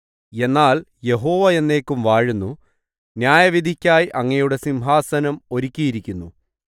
എന്നാൽ യഹോവ എന്നേക്കും വാഴുന്നു ന്യായവിധിക്കായി അങ്ങയുടെ സിംഹാസനം ഒരുക്കിയിരിക്കുന്നു